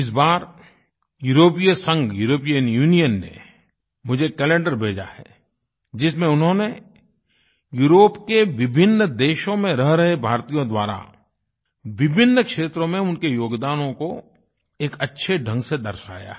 इस बार यूरोपीय संघ यूरोपियन यूनियन ने मुझे कैलेंडर भेजा है जिसमें उन्होनें यूरोप के विभिन्न देशों में रह रहे भारतीयों द्वारा विभिन्न क्षेत्रों में उनके योगदानों को एक अच्छे ढंग से दर्शाया है